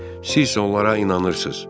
Siz isə onlara inanırsız.